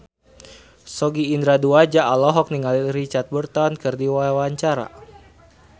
Sogi Indra Duaja olohok ningali Richard Burton keur diwawancara